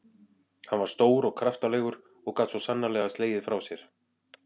Hann var stór og kraftalegur og gat svo sannarlega slegið frá sér.